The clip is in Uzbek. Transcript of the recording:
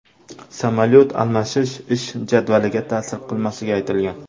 Samolyot almashish ish jadvaliga ta’sir qilmasligi aytilgan.